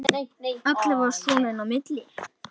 Allavega svona inni á milli